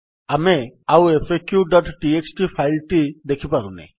ଆମେ ଆଉ faqଟିଏକ୍ସଟି ଫାଇଲ୍ ଟି ଦେଖିପାରୁନେ